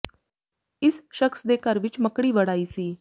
ਇਸ ਸ਼ਖ਼ਸ ਦੇ ਘਰ ਵਿਚ ਮੱਕੜੀ ਵੜ ਆਈ ਸੀ